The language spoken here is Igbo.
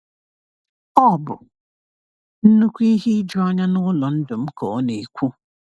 "Ọ bụ nnukwu ihe ijuanya n’ụlọ ndụ m," ka ọ na-ekwu.